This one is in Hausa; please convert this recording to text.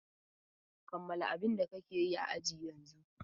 Kammala abin da kake yi a ajin yanzun!